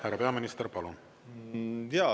Härra peaminister, palun!